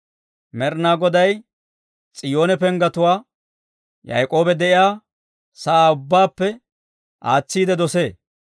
Med'inaa Goday S'iyoone penggetuwaa, Yaak'oobi de'iyaa sa'aa ubbaappe aatsiide dosee.